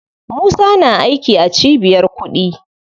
Musa na aiki a cibiyar kuɗi.